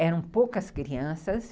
Eram poucas crianças.